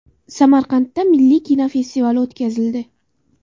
Samarqandda milliy kino festivali o‘tkazildi.